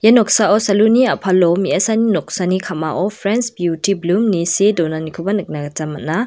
ia noksao salun ni a·palo me·asani noksani ka·mao prens biuti blum ne see donanikoba nikna gita man·a.